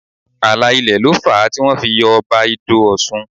Ààlà ilẹ̀ ló fà á tí wọ́n fi yọ Ọba Ido Ọ̀ṣun